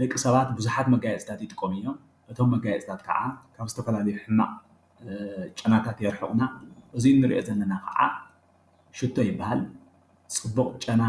ደቂ ሰባት ብዙሓት መጋየፅታት ይጥቀሙ እዮም፡፡ እቶም መጋየፅታት ከዓ ዝተፈላለዩ ሕማቕ ጨናታት የርሕቑልና፡፡ እዚ ንሪኦ ዘለና ከዓ ሽቶ ይበሃል፡፡ ፅቡቕ ጨና